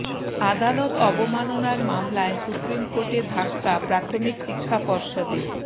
আদালত অবমাননার মামলায় সুপ্রিম কোর্টে ধাক্কা প্রাথমিক শিক্ষা পর্ষদের